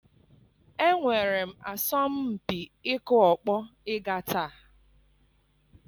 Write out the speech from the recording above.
Enwere m asọmpi ịkụ ọkpọ ịga taa